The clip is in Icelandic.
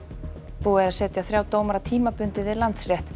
búið er að setja þrjá dómara tímabundið við Landsrétt